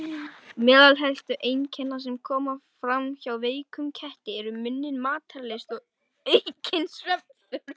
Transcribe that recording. Meðal helstu einkenna sem koma fram hjá veikum ketti eru minni matarlyst og aukin svefnþörf.